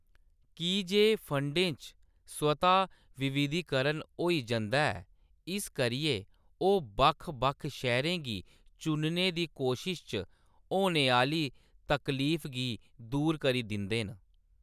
की जे फंडें च स्वतः विविधीकरण होई जंदा ऐ, इस करियै ओह्‌‌ बक्ख-बक्ख शेयरें गी चुनने दी कोशश च होने आह्‌‌‌ली तकलीफ गी दूर करी दिंदे न।